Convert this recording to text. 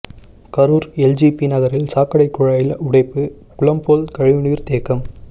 Karur LGB நகரில் சாக்கடை குழாயில் உடைப்பு குளம் போல் கழிவுநீர் தேக்கம்